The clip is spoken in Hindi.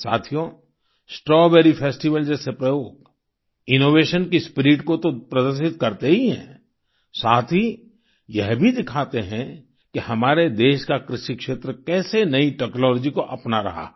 साथियो स्ट्रॉबेरी फेस्टिवल जैसे प्रयोग इनोवेशन की स्पिरिट को तो प्रदर्शित करते ही हैं साथ ही यह भी दिखाते हैं कि हमारे देश का कृषि क्षेत्र कैसे नई टेक्नोलॉजी को अपना रहा है